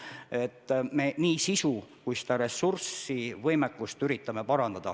Me üritame parandada nii sisu kui ka ressursivõimekust.